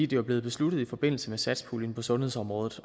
det er blevet besluttet i forbindelse med satspuljen på sundhedsområdet